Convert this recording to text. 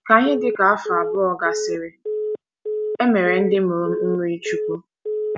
Ka ihe dị ka afọ abụọ gasịrị, e mere ndị mụrụ m mmirichukwu.